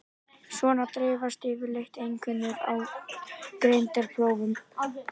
Svona dreifast yfirleitt einkunnir á greindarprófum.